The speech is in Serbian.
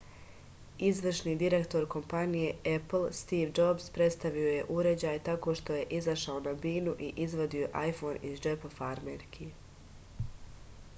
izvršni direktor kompanije epl stiv džobs predstavio je uređaj tako što je izašao na binu i izvadio ajfon iz džepa farmerki